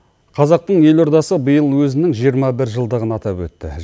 қазақтың елордасы биыл өзінің жиырма бір жылдығын атап өтті